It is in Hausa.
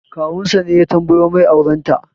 Kawun sa ne ya tambayo mai auren ta